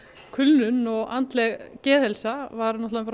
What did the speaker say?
kulnun og andleg geðheilsa var